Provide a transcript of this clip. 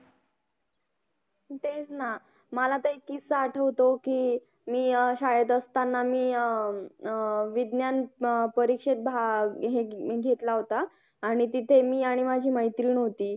तेच ना मला तर एक किस्सा आठवतो की मी अं शाळेत असताना मी अं विज्ञान अं परीक्षेत भाग घेतला होता आणि तिथे मी आणि माझी मैत्रीण होती